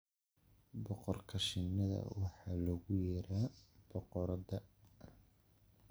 Boqorka shinnida waxaa loogu yeeraa "boqoradda".